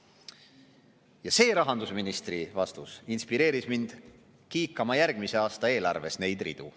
Ja see rahandusministri vastus inspireeris mind kiikama järgmise aasta eelarves neid ridu.